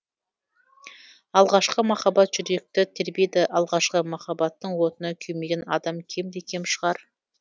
алғашқы махаббат жүректі тербейді алғашқы махаббаттың отына күймеген адам кемде кем шығар